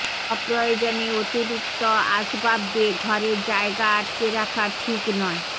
অপ্রয়োজনে অতিরিক্ত আসবাব দিয়ে ঘরের জায়গা আটকে রাখা ঠিক নয়